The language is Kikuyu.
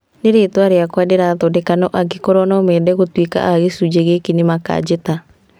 Nĩ rĩtwa rĩakwa ndĩrathondeka na angĩkorwo nomende gũtuĩka a gĩcunjĩ gĩkĩ, nĩmakanjĩta